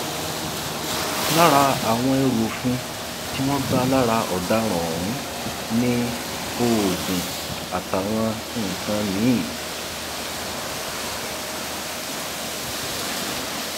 lára àwọn ẹrù òfin tí wọn bá lára ọdaràn ọhún ni oògùn àtàwọn nǹkan mìín